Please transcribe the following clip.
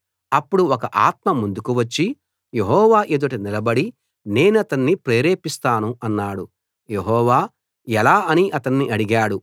అప్పుడు ఒక ఆత్మ ముందుకు వచ్చి యెహోవా ఎదుట నిలబడి నేనతన్ని ప్రేరేపిస్తాను అన్నాడు యెహోవా ఎలా అని అతన్ని అడిగాడు